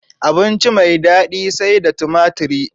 Abinci mai dadi sai da tumatri